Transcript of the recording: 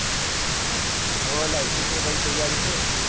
હા ભાઈ હવે licence ની ભાઈ તૈયારી છે